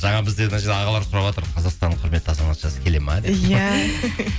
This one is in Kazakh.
жаңа бізде мына жерде ағалар сұраватыр қазақстанның құрметті азаматшасы келеді ме деп иә